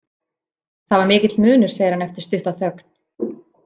Það var mikill munur, segir hann eftir stutta þögn.